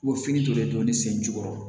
O fini to de don ne sen jukɔrɔ